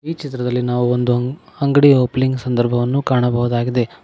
ಈ ಚಿತ್ರದಲ್ಲಿ ನಾವು ಒಂದು ಅಂಗಡಿಯ ಒಪಲಿಂಗ ಸಂದರ್ಭವನ್ನು ಕಾಣಬಹುದಾಗಿದೆ.